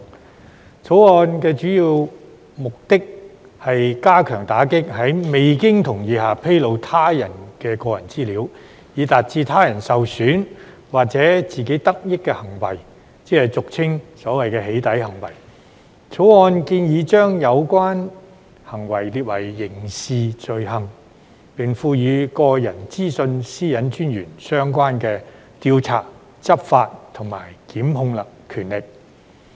《條例草案》的主要目的，是加強打擊在未經同意下披露他人的個人資料，以致他人受損或自己得益的行為，即是所謂"起底"行為。《條例草案》建議把有關行為列為刑事罪行，並賦予個人資料私隱專員相關的調查、執法和檢控權力。